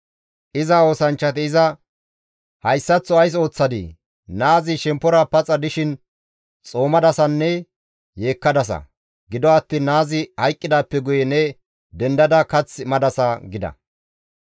Iza oosanchchati iza, «Hayssaththo ays ooththadii? Naazi shemppora paxa dishin xoomadasanne yeekkadasa; gido attiin naazi hayqqidaappe guye ne dendada kath madasa» gida.